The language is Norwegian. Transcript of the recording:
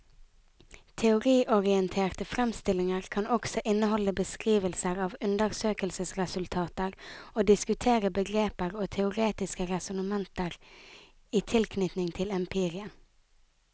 Teoriorienterte fremstillinger kan også inneholde beskrivelser av undersøkelsesresultater og diskutere begreper og teoretiske resonnementer i tilknytning til empirien.